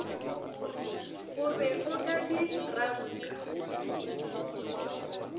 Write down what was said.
o be o ka dirangka